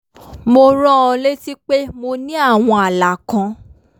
mo rán an létí pé mo ní àwọn ààlà kan